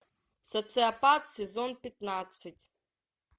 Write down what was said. социопат сезон пятнадцать